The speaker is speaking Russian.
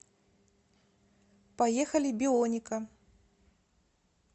поехали бионика